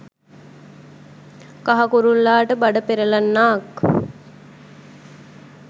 කහ කුරුල්ලාට බඩ පෙරලෙන්නාක්